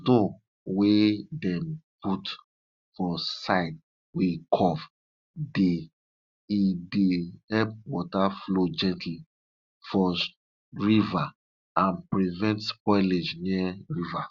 stone wey dem put for side wey curve dey e dey help water flow gently for river and prevent spoilage near river